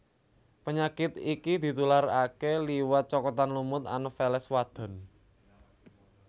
Penyakit iki ditularaké liwat cokotan lemut Anopheles wadon